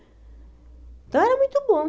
Então era muito bom.